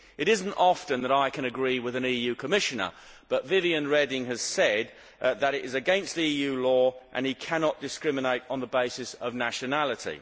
It is not often that I can agree with an EU Commissioner, but Viviane Reding has said that this is against EU law and that he cannot discriminate on the basis of nationality.